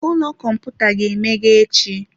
Ụlọ kọmputa ga-emeghe echi.